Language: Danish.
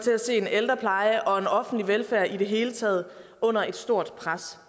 til at se en ældrepleje og offentlig velfærd i det hele taget under et stort pres